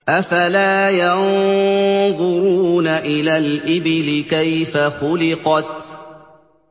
أَفَلَا يَنظُرُونَ إِلَى الْإِبِلِ كَيْفَ خُلِقَتْ